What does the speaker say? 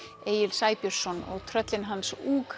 Egil Sæbjörnsson og tröllin hans